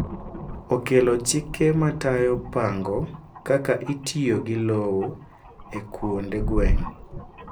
okelo chike matayo pang'o kaka itiyo gi lowo e kuonde gweng'